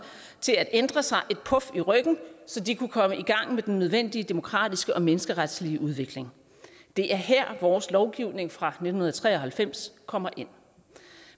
til at ændre sig et puf i ryggen så de kunne komme i gang med den nødvendige demokratiske og menneskeretslige udvikling det er her vores lovgivning fra nitten tre og halvfems kommer ind